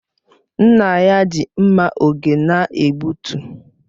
Nna ya ji mma oge na-egbutu